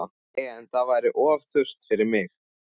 En það væri of þurrt fyrir mig